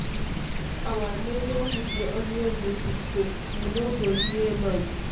Our neighborhood dey always dey peaceful, you no go hear noise.